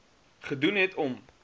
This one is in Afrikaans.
gedoen het om